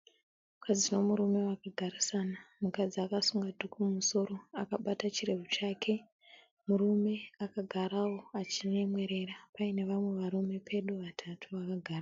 Mukadzi nemurume vakagarisana. Mukadzi akasunga dhuku mumusoro. Akabata chirebvu chake. Murume akagarawo achinyemwerera paine vamwe varume pedo vatatu vakagara.